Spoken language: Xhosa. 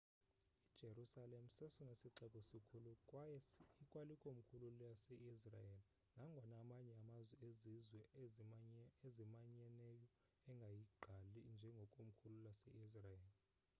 ijerusalem sesona sixeko sikhulu kwaye ikwalikomkhulu lase-israel nangona amanye amazwe ezizwe ezimanyeneyo engayigqali njengekomkhulu lase-israel